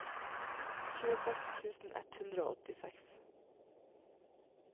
tjueseks tusen ett hundre og åttiseks